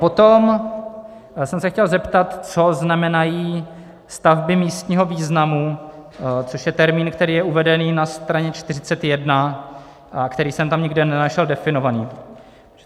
Potom jsem se chtěl zeptat, co znamenají stavby místního významu, což je termín, který je uveden na straně 41, který jsem tam nikde nenašel definovaný.